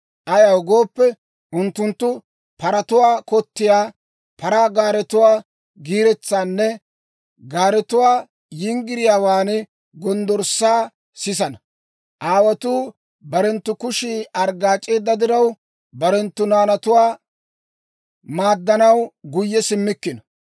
Ayaw gooppe, unttunttu paratuwaa kottiyaa, paraa gaaretuwaa giiretsaanne gaaretuwaa yinggiriyaawaan gonddorssaa sisana; aawotuu barenttu kushii arggaac'eedda diraw, barenttu naanatuwaa maaddanaw guyye simmikkino.